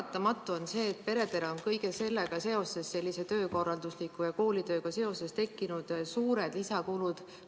Paratamatu on see, et peredele on kõige sellega seoses, sellise töökorralduse ja koolitööga seoses tekkinud suured lisakulud.